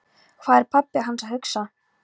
Hvað var pabbi hans að hugsa?